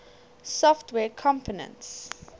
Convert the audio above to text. software components